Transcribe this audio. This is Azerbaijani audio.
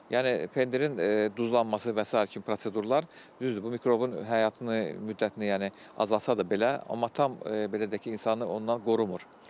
Yəni pendirin duzlanması və sairə kimi prosedurlar, düzdür, bu mikrobun həyatını, müddətini, yəni azaltsa da belə, amma tam belə deyək ki, insanı ondan qorumur.